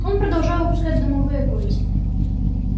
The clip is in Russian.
он продолжал выпускать дымовые кольца